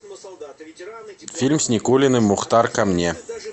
фильм с никулиным мухтар ко мне